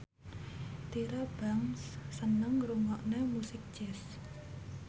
Tyra Banks seneng ngrungokne musik jazz